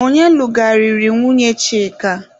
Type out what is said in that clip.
Ọnye lụgharịrị nwunye Chika?